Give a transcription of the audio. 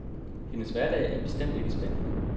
Hendes hverdag er bestemt ikke spændende.